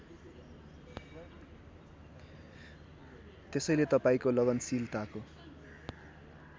त्यसैले तपाईँको लगनशीलताको